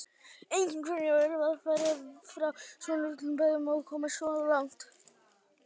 Einnig hvernig er að vera frá svona litlum bæ og komast svona langt?